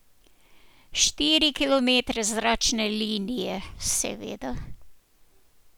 Štiri kilometre zračne linije, seveda.